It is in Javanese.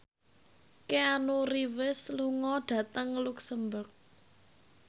Keanu Reeves lunga dhateng luxemburg